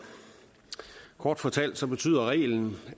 kort fortalt betyder reglen